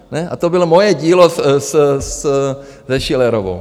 A to bylo moje dílo se Schillerovou.